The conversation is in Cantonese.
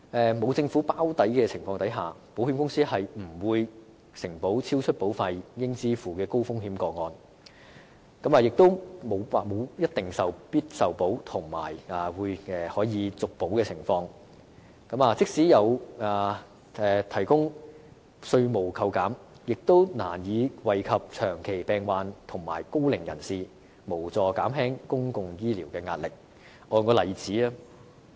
在沒有政府"包底"的情況下，保險公司不會承保超出保費應支付的高風險個案，亦沒有必定受保及可續保的承諾，即使政府提供稅務扣減，亦難以惠及長期病患者和高齡人士，無助減輕公共醫療的壓力。